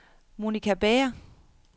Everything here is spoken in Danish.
Monica Bager